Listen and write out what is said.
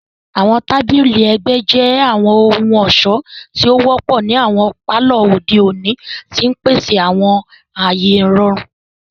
Àwọn tabili ẹgbẹ jẹ àwọn ohun-ọṣọ ti o wọpọ ni awọn palọ ode oni, ti n pese awọn aaye irọrun.